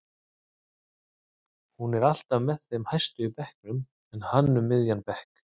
Hún er alltaf með þeim hæstu í bekknum en hann um miðjan bekk.